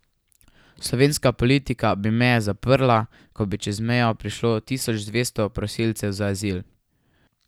Slovenska politika bi meje zaprla, ko bi čez mejo prišlo tisoč dvesto prosilcev za azil.